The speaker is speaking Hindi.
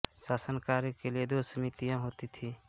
शासन कार्य के लिए दो समितियां होती थीं